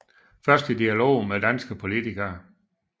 Først i dialog med danske politikere